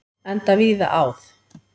Enda víða áð.